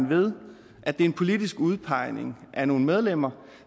ved at det en politisk udpegning af nogle medlemmer